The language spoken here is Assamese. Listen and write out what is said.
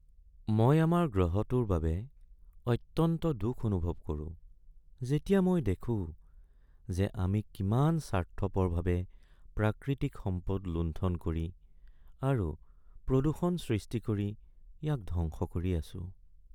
মই আমাৰ গ্ৰহটোৰ বাবে অত্যন্ত দুখ অনুভৱ কৰোঁ যেতিয়া মই দেখোঁ যে আমি কিমান স্বাৰ্থপৰভাৱে প্ৰাকৃতিক সম্পদ লুণ্ঠন কৰি আৰু প্ৰদূষণ সৃষ্টি কৰি ইয়াক ধ্বংস কৰি আছো।